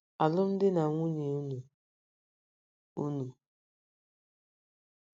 ’Alụmdi na nwunye enwe unu